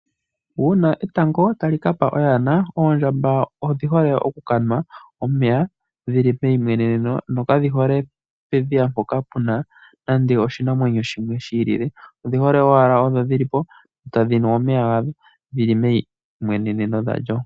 Uuna etango tali ka pa oyana ,oondjamba odhi hole okukanwa omeya dhili peyi mweneneno, nokadhi hole pedhiya mpoka puna nande oshinamwenyo shimwe shiilile. Odhi hole owala odho dhili po ,tadhi nu omeya ga dho ,dhili meimweneneno dha lyo.